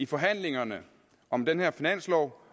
forhandlingerne om den her finanslov